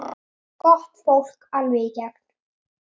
Gott fólk, alveg í gegn.